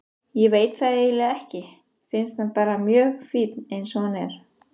Ég veit það eiginlega ekki, finnst hann bara mjög fínn eins og hann er.